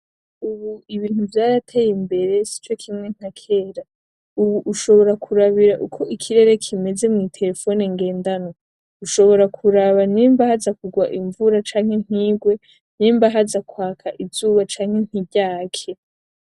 Ubu ibintu vyarateye imbere sico kimwe nka kera. Ubu ushobora kuraba uko ikirere kimeze mwitelefone ngendanwa. Ushobora kuraba nimba haza kugwa imvura canke ntigwe. Nimba haza kwaka izuba canke ntiryake.